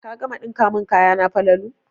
Ka gama ɗinka mun kayana Falalu